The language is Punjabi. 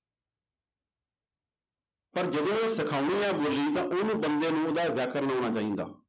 ਪਰ ਜਦੋਂ ਸਿਖਾਉਣੀ ਹੈ ਬੋਲੀ ਤਾਂ ਉਹਨੂੰ ਬੰਦੇ ਨੂੰ ਉਹਦਾ ਵਿਆਕਰਨ ਆਉਣਾ ਚਾਹੀਦਾ।